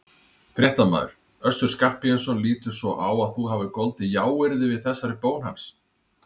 Fréttamaður: Össur Skarphéðinsson lítur svo á að þú hafir goldið jáyrði við þessari bón hans?